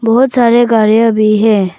बहोत सारे गाड़िया भी है।